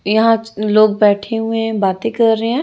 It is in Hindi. यहां च लोग बैठे हुए बातें कर रहे हैं।